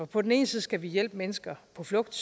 på den ene side skal vi hjælpe mennesker på flugt